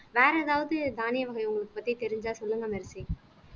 வேற ஏதாவது தானிய வகை உங்களுக்கு பத்தி தெரிஞ்சா சொல்லுங்க மெர்சி ஆஹ்